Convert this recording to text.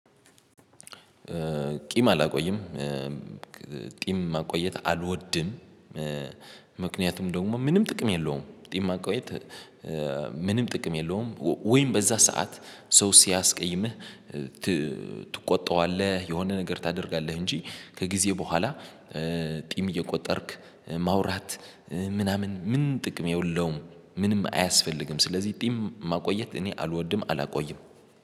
ቂም አላቆይም ቂም ማቆየት አልወድም። ምክንያቱም ደግሞ ምንም ጥቅም የለውም ቂም ማቆየት ምንም ጥቅም የለውም። ወይም በዛ ሰዓት ሰው ሲያስቀይምህ ትቆጣዋለህ የሆነ ነገር ታደርጋለህ እንጂ ከጊዜ በኋላ ቂም እየቆጠርክ ማውራት ምናምን ምን ጥቅም የለውም ምንም አያስፈልግም። ስለዚህ ቂም ማቆየት እኔ አልወድም አላቆይም